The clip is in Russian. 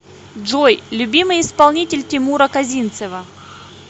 джой любимый исполнитель тимура козинцева